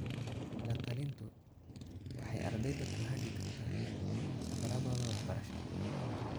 La-talintu waxay ardayda ku hagi kartaa safarradooda waxbarasho.